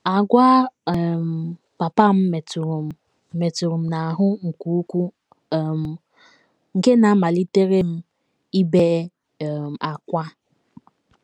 Àgwà um papa m metụrụ m m metụrụ m n’ahụ́ nke ukwuu um nke na amalitere m ibe um ákwá. ”